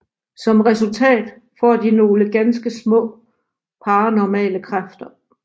Som resultat får de nogle ganske små paranormale kræfter